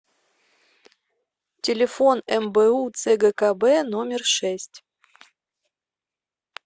телефон мбу цгкб номер шесть